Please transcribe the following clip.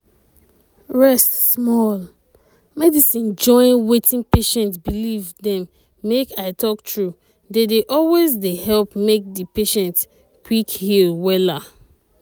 rest small. medicine join wetin patient believe dem make i talk true dey dey always dey help make di patient quick heal wella.